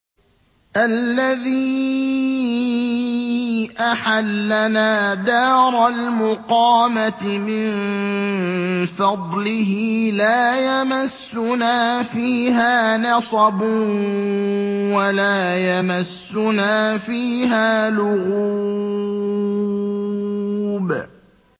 الَّذِي أَحَلَّنَا دَارَ الْمُقَامَةِ مِن فَضْلِهِ لَا يَمَسُّنَا فِيهَا نَصَبٌ وَلَا يَمَسُّنَا فِيهَا لُغُوبٌ